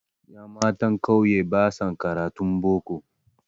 Ƴammatan ƙauye basa karatun boko